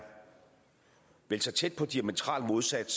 så tæt på diametralt modsat